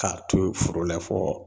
K'a to foro la fɔ